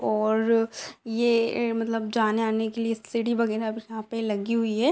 और ये मतलब जाने आने के लिए सीढ़ी वगैरा यहाँ पे लगी हुई हैं।